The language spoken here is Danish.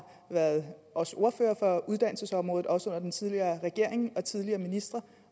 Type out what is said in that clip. været også ordfører for uddannelsesområdet også under den tidligere regering og tidligere ministre